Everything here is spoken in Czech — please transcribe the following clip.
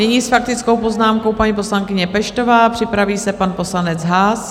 Nyní s faktickou poznámkou paní poslankyně Peštová, připraví se pan poslanec Haas.